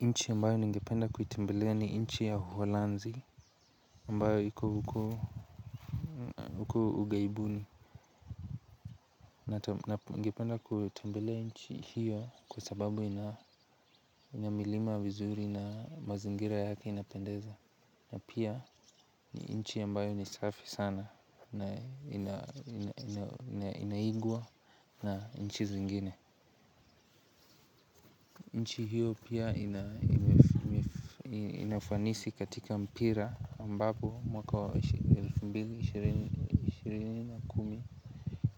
Nchi ambayo ningependa kuitembelea ni nchi ya uholanzi ambayo iko huku ughaibuni na bingependa kuitembelea chi hiyo kwa sababu ina milima vizuri na mazingira yake inapendeza na pia ni inchi ambayo ni safi sana na inaigwa na nchi zingine nchi hiyo pia ina ina ufanisi katika mpira ambapo mwaka wa elfu mbili ishirini na kumi